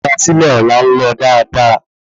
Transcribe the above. Ímúrasílè Ọ̀la ńlọ dáadáa